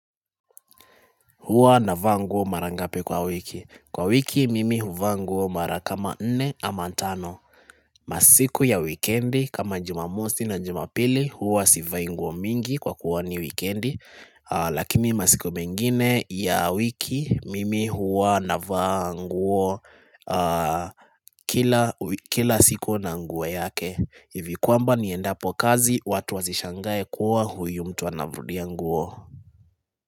Huwa navaa nguo mara ngapi kwa wiki. Kwa wiki mimi huvaa nguo mara kama nne ama tano. Masiku ya wikendi kama jumamosi na jumapili huwa sivai nguo mingi kwa kuwa ni wikendi. Lakini masiku mengine ya wiki mimi huwa navaa nguo kila siku na nguo yake. Hivi kwamba niendapo kazi watu wasishangae kuwa huyu mtu anarudia nguo.